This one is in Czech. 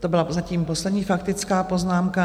To byla zatím poslední faktická poznámka.